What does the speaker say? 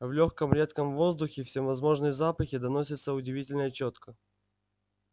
в лёгком редком воздухе всевозможные запахи доносятся удивительно чётко